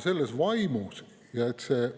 Selles vaimus, et see